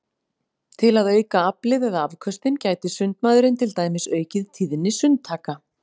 Til að auka aflið eða afköstin gæti sundmaðurinn til dæmis aukið tíðni sundtaka.